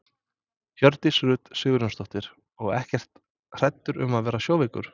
Hjördís Rut Sigurjónsdóttir: Og ekkert hræddur um að verða sjóveikur?